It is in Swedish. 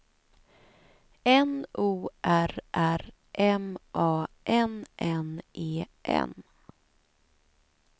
N O R R M A N N E N